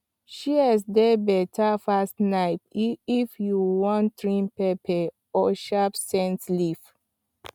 shears dey better pass knife when you wan trim pepper or shape scent leaf